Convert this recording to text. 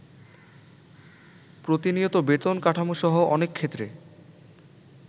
প্রতিনিয়ত বেতন কাঠামো সহ অনেকক্ষেত্রে